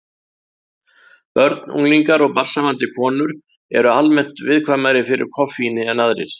Börn, unglingar og barnshafandi konur eru almennt viðkvæmari fyrir koffíni en aðrir.